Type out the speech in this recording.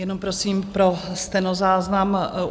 Jenom prosím pro stenozáznam.